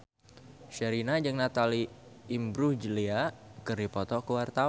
Sherina jeung Natalie Imbruglia keur dipoto ku wartawan